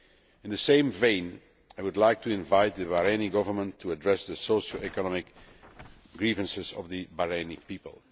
In the same vein, I would like to invite the Bahraini Government to address the social and economic grievances of the Bahraini people.